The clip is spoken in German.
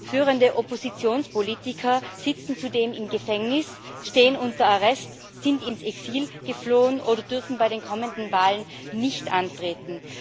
Führende Oppositionspolitiker sitzen zudem im Gefängnis, stehen unter Arrest, sind ins Exil geflohen oder dürfen bei den kommenden Wahlen nicht antreten.